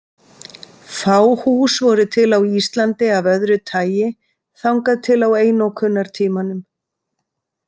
Fá hús voru til á Íslandi af öðru tagi þangað til á einokunartímanum.